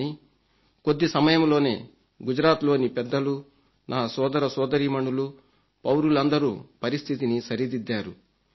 కానీ కొద్ది సమయంలోనే గుజరాత్లోని పెద్దలూ నా సోదరసోదరీమణులు పౌరులందరూ పరిస్థితిని సరిదిద్దారు